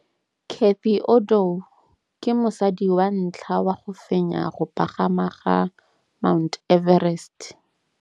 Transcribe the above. Cathy Odowd ke mosadi wa ntlha wa go fenya go pagama ga Mt Everest.